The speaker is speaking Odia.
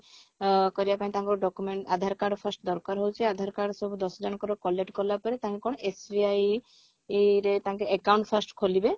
ଅ କରିବା ପାଇଁ ତାଙ୍କର document aadhar card first ଦରକାର ହଉଛି aadhar card ସବୁ ଦଶ ଜଣଙ୍କର collect କଲା ପରେ ତାଙ୍କେ କଣ SBI ଏଇରେ ତାଙ୍କ account first ଖୋଲିବେ